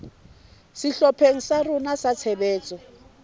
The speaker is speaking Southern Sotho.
sehlopheng sa rona sa tshebetso